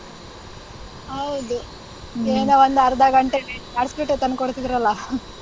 ಹೌದು ಏನು ಒಂದು ಅರ್ಧ ಗಂಟೆಗೆ ತಂದ್ಕೊಡ್ತಿದ್ರಲ್ಲ.